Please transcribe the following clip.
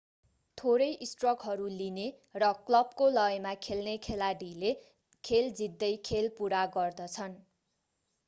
थोरै स्ट्रकहरू लिने र क्लबको लयमा खेल्ने खेलाडीले खेल जित्दै खेल पुरा गर्दछन्